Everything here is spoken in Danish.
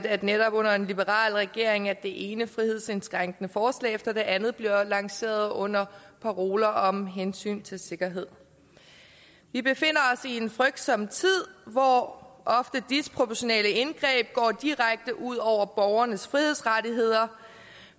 at det netop er under en liberal regering at det ene frihedsindskrænkende forslag efter det andet bliver lanceret under paroler om hensyn til sikkerhed vi befinder os i en frygtsom tid hvor disproportionale indgreb ofte går direkte ud over borgernes frihedsrettigheder